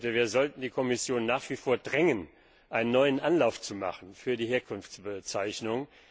Wir sollten die Kommission nach wie vor drängen, einen neuen Anlauf zu machen für die Herkunftsbezeichnung.